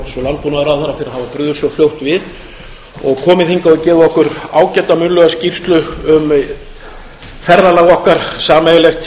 svo fljótt við og komið hingað og gefið okkur ágæta munnlega skýrslu um ferðalag okkar sameiginlegt